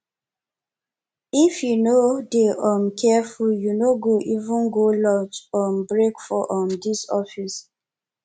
if you no dey um careful you no go even go lunch um break for um dis office